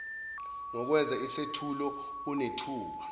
ngokwenza isethulo unethuba